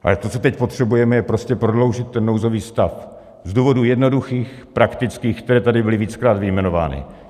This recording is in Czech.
Ale to, co teď potřebujeme, je prostě prodloužit ten nouzový stav z důvodů jednoduchých, praktických, které tady byly víckrát vyjmenovány.